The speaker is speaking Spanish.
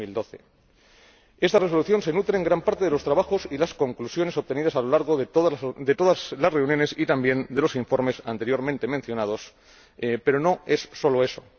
2012. Esta Resolución se nutre en gran parte de los trabajos y las conclusiones obtenidos a lo largo de todas las reuniones y también de los informes anteriormente mencionados, pero no es solo eso.